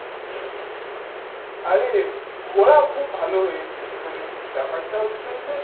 আরে ঘোরা খুব ভাল হয়েছে মানে ব্যাপার টা হচ্ছে যে